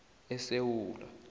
esewula